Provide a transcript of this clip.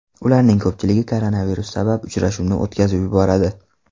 Ularning ko‘pchiligi koronavirus sabab uchrashuvni o‘tkazib yuboradi .